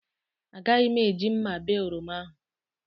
Agaghị m eji mma bee oroma ahụ